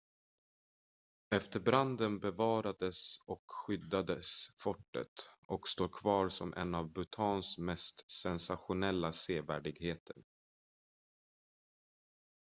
efter branden bevarades och skyddades fortet och står kvar som en av bhutans mest sensationella sevärdheter